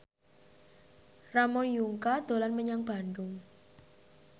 Ramon Yungka dolan menyang Bandung